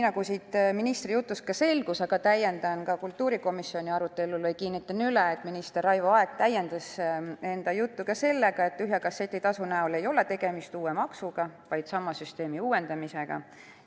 Ministri jutust küll juba selgus, aga täiendan kultuurikomisjoni arutelu põhjal või kinnitan üle: minister Raivo Aeg ütles, et tühja kasseti tasu näol ei ole tegemist uue maksuga, vaid sama süsteemi uuendamisega.